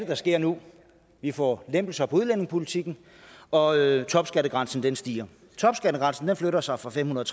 der sker nu vi får lempelser af udlændingepolitikken og topskattegrænsen stiger topskattegrænsen flytter sig fra femhundrede